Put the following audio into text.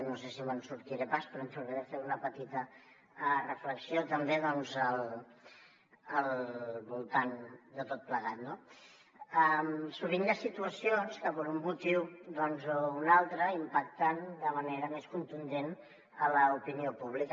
no sé si me’n sortiré pas però provaré de fer una petita reflexió també al voltant de tot plegat no sovint hi ha situacions que per un motiu o un altre impacten de manera més contundent en l’opinió pública